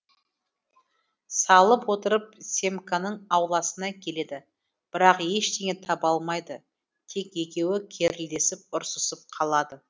салып отырып семканың ауласына келеді бірақ ештеңе таба алмайды тек екеуі керілдесіп ұрсысып қалады